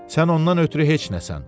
Sən ondan ötrü heç nəsən.